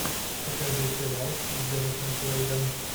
покажи сериал с деннисом куэйдом